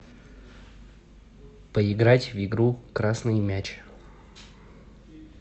поиграть в игру красный мяч